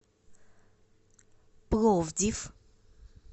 пловдив